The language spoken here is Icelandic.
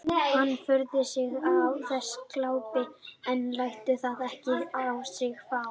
Hann furðar sig á þessu glápi en lætur það ekki á sig fá.